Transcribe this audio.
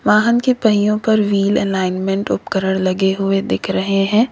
वाहन के पहियों पर व्हील एलाइनमेंट उपकरण लगे हुए दिख रहे हैं।